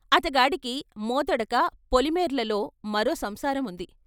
అతగాడికి మోతడక పొలిమేర్లల్లో మరో సంసారం ఉంది.